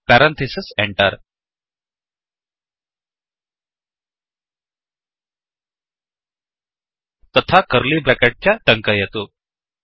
पेरम्थिसिस् Enterएण्टर् तथा curly bracket च टङ्कयतु